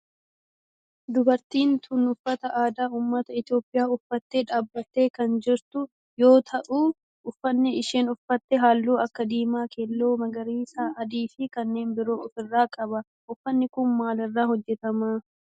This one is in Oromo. Dubartiin tun uffata aadaa ummata Itiyoophiyaa uffattee dhaabbattee kan jirtu yoo ta'u uffanni isheen uffatte halluu akka diimaa, keelloo magariisa, adii fi kanneen biroo of irraa qaba. Uffanni kun maal irraa hojjetama?